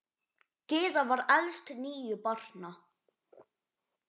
Gyða var elst níu barna.